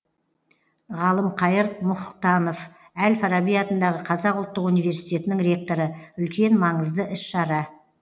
ғалымқайыр мұқтанов әл фараби атындағы қазақ ұлттық университетінің ректоры үлкен маңызды іс шара